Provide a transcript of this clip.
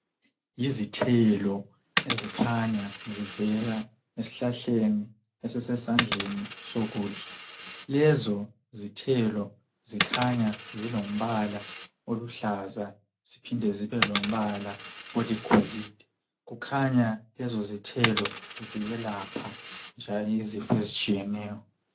Yizithelo ezikhanya zivela ezihlahleni esisesandleni sokudla izithelo ezikhanya zilombala oluhlaza ziphinde zibe lombala oligolide kukhanya lezo zithelo ziyelapha njalo izifo ezitshiyeneyo